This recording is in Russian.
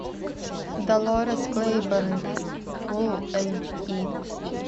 долорес клейборн фулл эйч ди